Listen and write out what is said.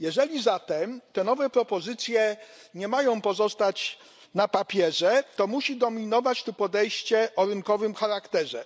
Jeżeli zatem te nowe propozycje nie mają pozostać na papierze, to musi dominować tu podejście o rynkowym charakterze.